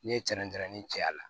N'i ye cɛnatɛmɛni cɛya la